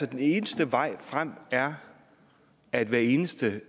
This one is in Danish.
at den eneste vej frem er at hvert eneste